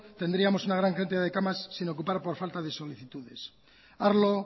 tendríamos una gran cantidad de camas sin ocupar por falta de solicitudes arlo